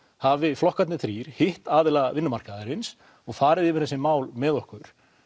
hafi flokkarnir þrír hitt aðila vinnumarkaðarins og farið yfir þessi mál með okkur